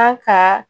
An ka